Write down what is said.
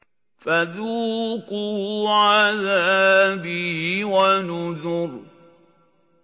فَذُوقُوا عَذَابِي وَنُذُرِ